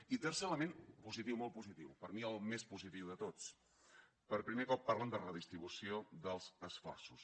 i tercer element positiu molt positiu per mi el més positiu de tots per primer cop parlen de redistribució dels esforços